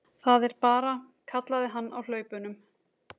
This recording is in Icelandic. Það er bara, kallaði hann á hlaupunum.